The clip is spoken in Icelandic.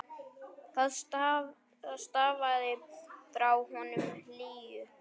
Það stafaði frá honum hlýju.